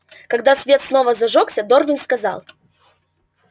когда свет снова зажёгся дорвин сказал